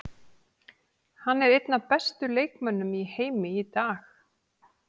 Hann er einn af bestu leikmönnum í heimi í dag.